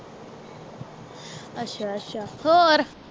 ਅੱਛਾ ਅੱਛਾ ਹੋਰ?